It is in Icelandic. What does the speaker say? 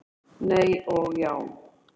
Nei og já!